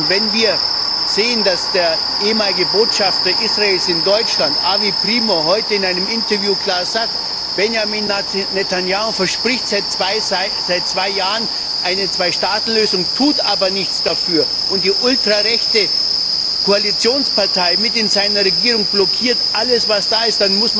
Wenn wir sehen, dass der ehemalige Botschafter Israels in Deutschland, Avi Primor, heute in einem Interview klar sagte Benjamin Netanjahu verspricht seit zwei Jahren eine Zwei Staaten Lösung, tut aber nichts dafür, und die ultrarechte Koalitionspartei in seiner Regierung blockiert alles, was da ist.,